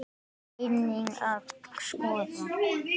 Það þurfi einnig að skoða.